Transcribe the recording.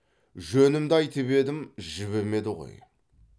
жөнімді айтып едім жібімеді ғой